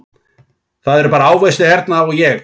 Það eru bara ávextir hérna og ég